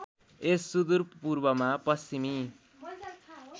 यस सुदूरपूर्वमा पश्चिमी